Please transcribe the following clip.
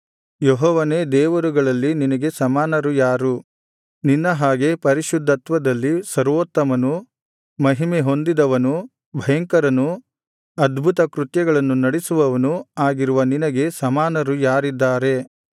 ಯೆಹೋವನೇ ದೇವರುಗಳಲ್ಲಿ ನಿನಗೆ ಸಮಾನರು ಯಾರು ನಿನ್ನ ಹಾಗೆ ಪರಿಶುದ್ಧತ್ವದಲ್ಲಿ ಸರ್ವೋತ್ತಮನು ಮಹಿಮೆ ಹೊಂದಿದವನು ಭಯಂಕರನೂ ಅದ್ಭುತ ಕೃತ್ಯಗಳನ್ನು ನಡಿಸುವವನೂ ಆಗಿರುವ ನಿನಗೆ ಸಮಾನರು ಯಾರಿದ್ದಾರೆ